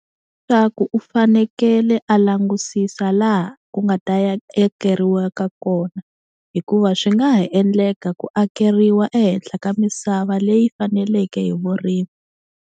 Swa ku u fanekele a langusisa laha ku nga ta ya kona hikuva swi nga ha endleka ku akeriwa ehenhla ka misava leyi faneleke hi vurimi.